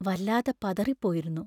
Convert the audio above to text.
വല്ലാതെ പതറിപ്പോയിരുന്നു.